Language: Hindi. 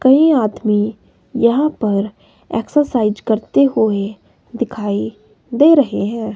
कई आदमी यहां पर एक्सरसाइज करते हुए दिखाई दे रहे हैं।